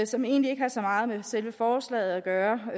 som egentlig ikke har så meget med selve forslaget at gøre